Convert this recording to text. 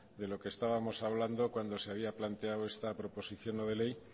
de lo que estábamos hablando cuando se había planteado esta proposición no de ley